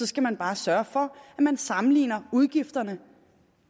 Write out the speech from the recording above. skal man bare sørge for at man sammenligner udgifterne